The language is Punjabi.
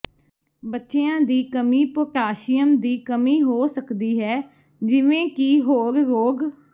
ਬੱਚਿਆਂ ਦੀ ਕਮੀ ਪੋਟਾਸ਼ੀਅਮ ਦੀ ਕਮੀ ਹੋ ਸਕਦੀ ਹੈ ਜਿਵੇਂ ਕਿ ਹੋਰ ਰੋਗ